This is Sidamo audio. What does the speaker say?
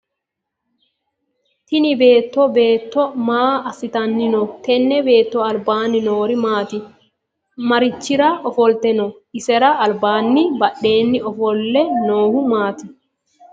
Tinni beetto beetto maa asitanni no? Tenne beetto albaanni Noori maati? Marichira ofolte no? Isera albaanninna badheenni ofole noohu maati?